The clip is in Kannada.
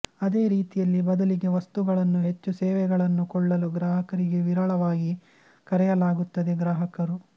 ಅದೇ ರೀತಿಯಲ್ಲಿ ಬದಲಿಗೆ ವಸ್ತುಗಳನ್ನು ಹೆಚ್ಚು ಸೇವೆಗಳನ್ನು ಕೊಳ್ಳಲು ಗ್ರಾಹಕರಿಗೆ ವಿರಳವಾಗಿ ಕರೆಯಲಾಗುತ್ತದೆ ಗ್ರಾಹಕರು